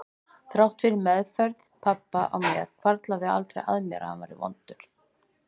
Þrátt fyrir meðferð pabba á mér hvarflaði aldrei að mér að hann væri vondur.